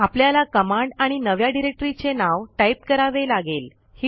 आपल्याला कमांड आणि नव्या डिरेक्टरीचे नाव टाईप करावे लागेल